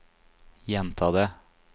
gjenta det